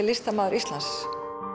listamaður Íslands